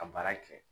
Ka baara kɛ